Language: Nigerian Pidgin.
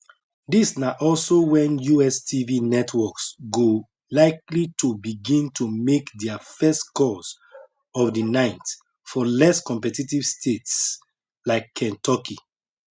dis na also wen us tv networks go likely to begin to make dia first calls of di night for less competitive states like kentucky